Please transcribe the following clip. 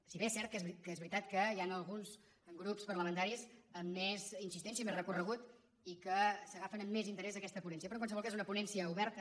si bé és cert que és veritat que hi han alguns grups parlamentaris amb més insistència i més recorregut i que s’agafen amb més interès aquesta ponència però en qualsevol cas és una ponència oberta